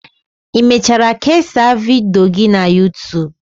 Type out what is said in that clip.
Ị mechara kesaa vidiyo gị na youtube